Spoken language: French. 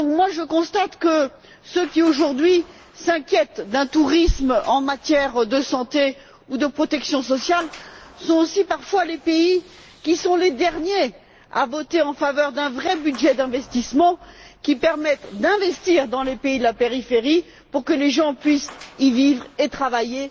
Je constate que ceux qui, aujourd'hui, s'inquiètent d'un tourisme en matière de santé ou de protection sociale sont aussi les pays qui sont les derniers à voter en faveur d'un vrai budget d'investissement, qui permette d'investir dans les pays de la périphérie pour que les gens puissent y vivre et y travailler,